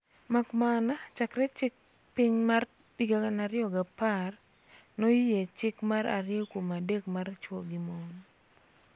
Makamana chakre chik piny mar 2010 noyie "chik mar ariyo kuom adek mar chwo gi mon,"